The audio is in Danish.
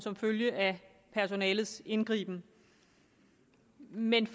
som følge af personalets indgriben men